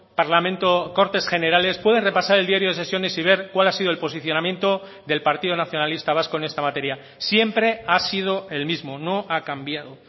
parlamento cortes generales puede repasar el diario de sesiones y ver cuál ha sido el posicionamiento del partido nacionalista vasco en esta materia siempre ha sido el mismo no ha cambiado